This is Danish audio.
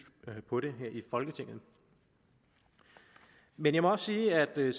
på det her i folketinget men jeg må også sige at vi